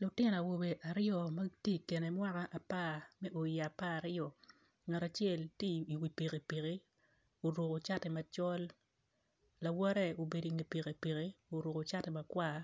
Lutino awobe aryo magitye i kine mwaka apar me o i aparaaryo ngat acel tye i wi pikipiki oruko cati macol lawote obedo inge pikipiki oruko cati makwar